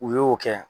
U y'o kɛ